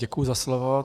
Děkuji za slovo.